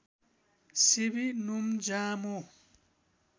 सेवी नोम्जामो